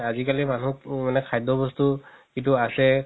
আজিকালি মানুহ মানে খাদ্য বস্তু যিতো আছে